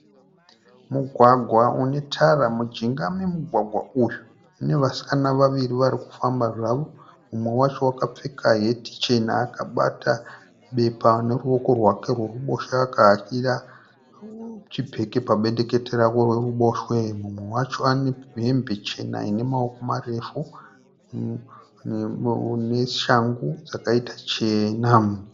Mugwagwa une tara ,mujinga memugwagwa uyu mune vasikana vaviri varikufamba zvavo. Mumwe wacho wakapfeka heti chena akabata bepa neruwoko rwake rweruboshwe akahakira chibheki pabendekete rake reruboshwe. Mumwe wacho ane hembe chena ine maoko marefu neshangu dzakaita chena.